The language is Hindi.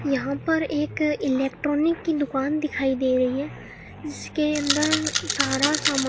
यहां पर एक इलेक्ट्रॉनिक की दुकान दिखाई दे रही है जिसके अंदर सारा सामा --